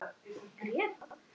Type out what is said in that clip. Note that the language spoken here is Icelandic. Og hvað gátum við þá gert?